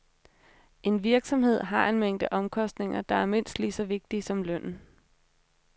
En virksomhed har en mængde omkostninger, der er mindst lige så vigtige som lønnen.